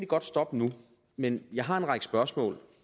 godt stoppe nu men jeg har en række spørgsmål